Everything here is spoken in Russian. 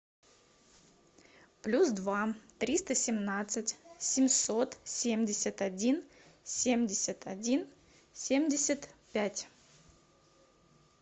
плюс два триста семнадцать семьсот семьдесят один семьдесят один семьдесят пять